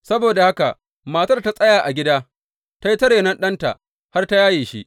Saboda haka matar ta tsaya a gida, ta yi ta renon ɗanta har ta yaye shi.